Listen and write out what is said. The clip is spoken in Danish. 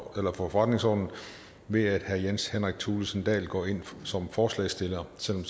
forretningsordenen ved at herre jens henrik thulesen dahl går ind som forslagsstiller selv